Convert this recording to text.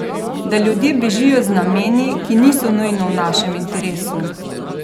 Da ljudje bežijo z nameni, ki niso nujno v našem interesu?